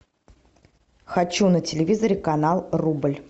хочу на телевизоре канал рубль